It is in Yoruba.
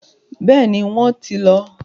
Bẹ́ẹ̀ni, wọ́n ti lọ.